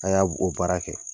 A y'a o baara kɛ.